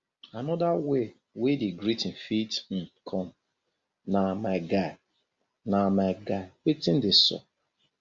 anoda way wey di greeting fit um com um na my guy na my guy wetin dey sup